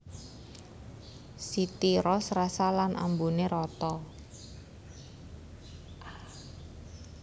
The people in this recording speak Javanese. City Roast rasa lan ambuné rata